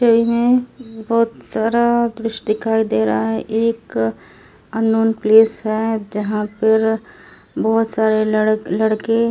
छवि है बहुत सारा दृश्य दिखायी दे रहा है एक अननोन प्लेस है जहां पर बहुत सारे लड़क लड़की जा--